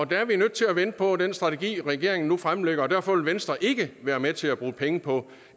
der er vi nødt til at vente på den strategi regeringen fremlægger og derfor vil venstre ikke være med til at bruge penge på en